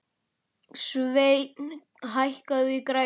Sveinn, hækkaðu í græjunum.